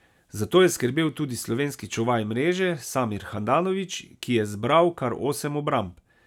Za to je skrbel tudi slovenski čuvaj mreže Samir Handanović, ki je zbral kar osem obramb.